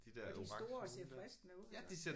Og de er store og ser fristende ud